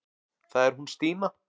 Það er hún Stína.